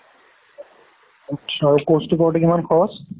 aatcha। আৰু course টো কৰোতো কিমান খৰচ?